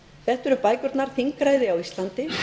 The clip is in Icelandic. þetta eru bækurnar þingræði á íslandi